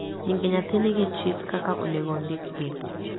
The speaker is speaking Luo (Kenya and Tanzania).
nyinge nyathi nigi chik kaka onego ondikgi